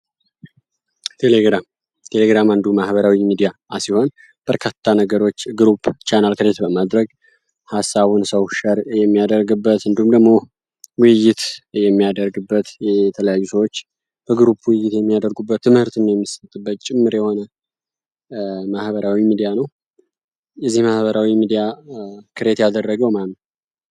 ቴሌግራም ቴሌግራም አንዱ ማህበራዊ ሚዲያ አሲሆን በርካታ ነገሮች ግሩፕ ቻነል ክሬት በማድረግ ሐሳውን ሰው ሸር የሚያደርግበት እንዱምደሞህ ውይይት የሚያደርግበት የተለያጊዙዎች በጉሩፕ ውይይት የሚያደርጉበት ትምህርትን የምስጥበት ጭምር የሆነ ማህበራዊ ሚዲያ ነው ።የዚህ ማህበራዊ ሚዲያ ክሬት ያደረገው ማነው?